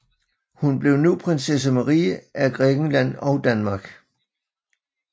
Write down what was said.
Hun blev nu Prinsesse Marie af Grækenland og Danmark